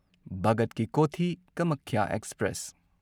Bhagat ki Kothi Kamakhya express